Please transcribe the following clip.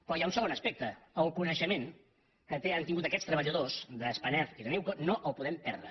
però hi ha un segon aspecte el coneixement que han tingut aquests treballadors de spanair i de newco no el podem perdre